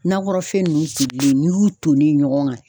Nakɔrɔfɛn nunnu tolilen n'i y'u tonen ye ɲɔgɔn kan.